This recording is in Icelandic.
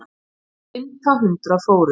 Á fimmta hundrað fórst